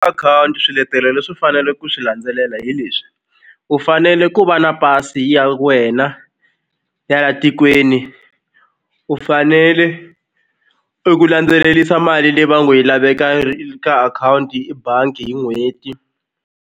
Akhawunti swiletelo leswi u fanele ku swi landzelela hi leswi u fanele ku va na pasi ya wena ya la tikweni u fanele i ku landzelerisa mali leyi va ngo yi laveka ka akhawunti i bangi hi n'hweti.